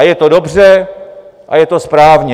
A je to dobře a je to správně.